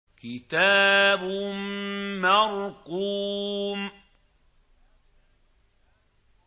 كِتَابٌ مَّرْقُومٌ